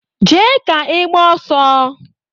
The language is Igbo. Jee ka i gbaa ọsọ!